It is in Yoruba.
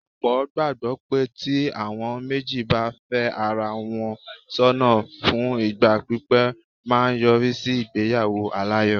Ọ̀pọ̀ gbàgbọ́ pé tí àwọn méjì bá fẹ́ ara wọn sọ́nà fún ìgbà pípé máa yọrí sí ìgbéyàwó aláyọ̀.